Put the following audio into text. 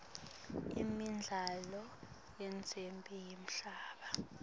imidlalo yendzebe yemhlaba